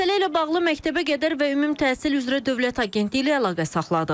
Məsələ ilə bağlı məktəbəqədər və ümumi təhsil üzrə Dövlət Agentliyi ilə əlaqə saxladıq.